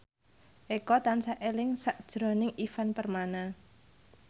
Eko tansah eling sakjroning Ivan Permana